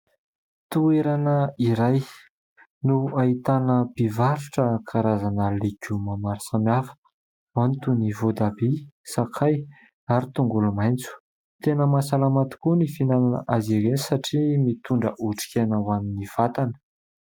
Toerana iray no ahitana mpivarotra karazana legioma maro samy hafa. Ao ny toy ny voatabia, sakay, ary tongolomaitso. Tena mahasalama tokoa ny fihinanana azy ireo satria mitondra otrik'aina ho an'ny vatana.